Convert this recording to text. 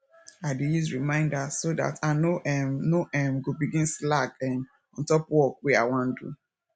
i dey use reminder so dat i no um no um go begin slack um on top work wey i wan do